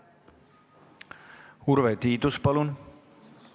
Urve Tiidus, palun!